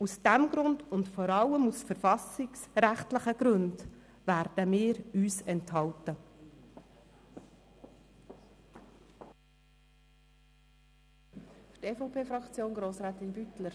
Aus diesem Grund und vor allem aus verfassungsrechtlichen Gründen werden wir uns der Stimme enthalten.